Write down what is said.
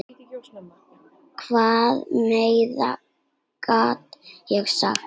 Hvað meira get ég sagt?